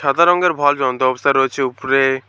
সাদা রঙের ভল জ্বলন্ত অবস্থায় রয়েছে উপরে।